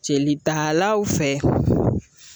Jelitalaw fɛ